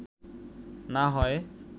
না হয়”